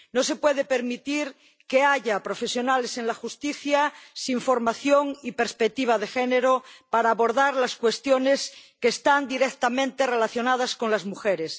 No se puede permitir que haya profesionales en la justicia sin formación y perspectiva de género para abordar las cuestiones que están directamente relacionadas con las mujeres.